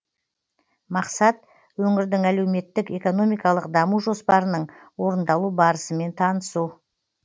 мақсат өңірдің әлеуметтік экономикалық даму жоспарының орындалу барысымен танысу